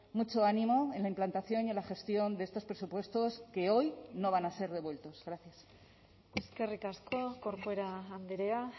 mucho ánimo en la implantación y en la gestión de estos presupuestos que hoy no van a ser devueltos gracias eskerrik asko corcuera andrea